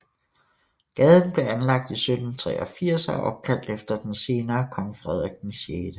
Gaden blev anlagt i 1783 og er opkaldt efter den senere kong Frederik 6